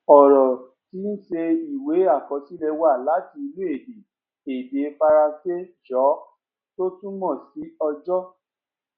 ọrọ tíí ṣe ìwé àkọsílẹ wá láti inú èdè èdè faransé jour tó túmọ sí ọjọ